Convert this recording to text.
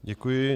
Děkuji.